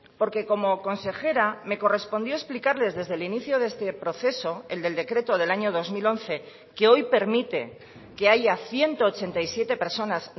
porque como consejera me correspondió explicarles desde el inicio de este proceso el del decreto del año dos mil once que hoy permite que haya ciento ochenta y siete personas